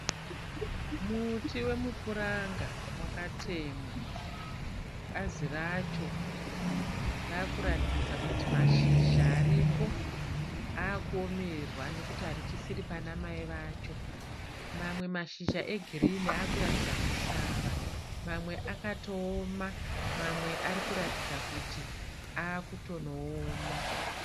Muti wemupuranga wakatemwa. Bazi racho raakuratidza kuti mashizha aripo akuomerwa nokuti harichisiri pana mai vacho. Mamwe mashizha egirini akuratidza kusvava mamwe mamwe akatooma mamwe ari kuratidza kuti akutonooma.